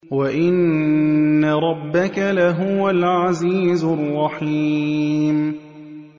وَإِنَّ رَبَّكَ لَهُوَ الْعَزِيزُ الرَّحِيمُ